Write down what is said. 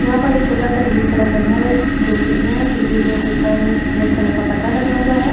यहाँ पर एक छोटा सा ग्रीन कलर का घर है। जिसकी दो खिड़कियां है। खिड़की के ऊपर रेड कलर पर्दा लगा हुआ है।